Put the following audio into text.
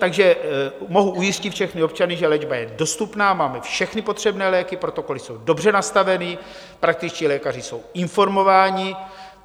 Takže mohu ujistit všechny občany, že léčba je dostupná, máme všechny potřebné léky, protokoly jsou dobře nastaveny, praktičtí lékaři jsou informováni.